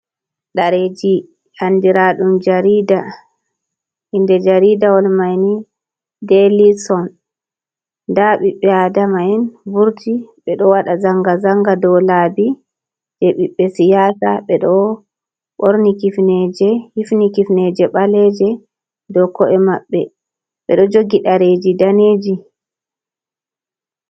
Ɗareji andira ɗum arida, inde jaridawol mai ni deli son nda ɓiɓbe adama'en vurti ɓe ɗo waɗa zanga zanga do laabi, je biɓbe siyasa ɓe ɗo ɓorni hifni kifneje ɓaleje, ɓe ɗo ko’e maɓbe ɓeɗo jogi dareji daneji.